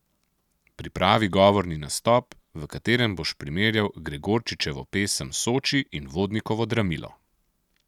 Pripravi govorni nastop, v katerem boš primerjal Gregorčičevo pesem Soči in Vodnikovo Dramilo.